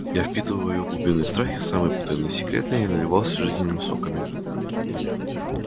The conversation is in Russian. я впитывал её глубинные страхи самые потаённые секреты и наливался жизненными соками